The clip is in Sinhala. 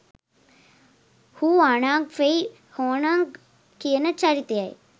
හුආන්ග් ෆෙයි හොන්ග් කියන චරිතයයි.